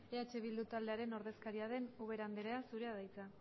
eh bildu taldearen ordezkaria den ubera andrea zurea da hitza